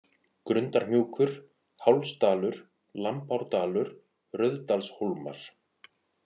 Grundarhnjúkur, Hálsdalur, Lambárdalur, Rauðdalshólmar